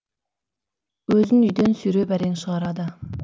өзін үйден сүйреп әрең шығарады